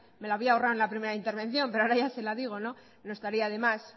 me la había ahorrado en la primera intervención pero ahora ya se la digo no estaría de más